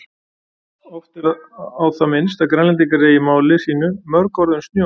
Oft er á það minnst að Grænlendingar eigi í máli sínu mörg orð um snjó.